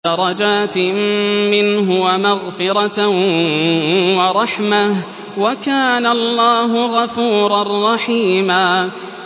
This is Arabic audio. دَرَجَاتٍ مِّنْهُ وَمَغْفِرَةً وَرَحْمَةً ۚ وَكَانَ اللَّهُ غَفُورًا رَّحِيمًا